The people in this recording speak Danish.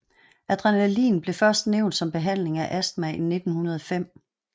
Adrenalin blev først nævnt som behandling af astma i 1905